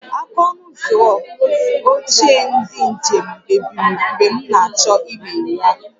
Aka ọnụ ụzọ oche ndị njem mebiri mgbe m na-achọ imeghe ya